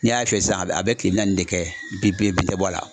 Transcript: N'i y'a fiyɛ sisan a be kile naani de kɛ bin bɔ a la